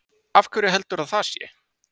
Af hverju heldurðu að það sé?